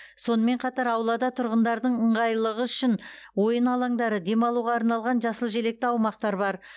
сонымен қатар аулада тұрғындардың ыңғайлылығы үшін ойын алаңдары демалуға арналған жасыл желекті аумақтар бар